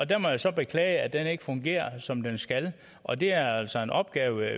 der må jeg så beklage at den ikke fungerer som den skal og det er altså en opgave